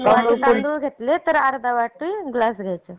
दोन वाटी तांदूळ घेतले तर अर्धा वाटी डाळ घ्यायची.